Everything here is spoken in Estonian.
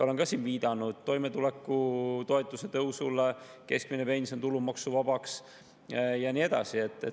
Olen siin viidanud toimetulekutoetuse tõusule, keskmine pension tulumaksuvabaks ja nii edasi.